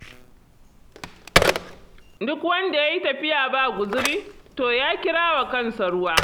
Duk wanda ya yi tafiya ba guzuri, to ya kira wa kansa ruwa.